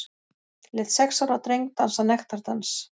Lét sex ára dreng dansa nektardans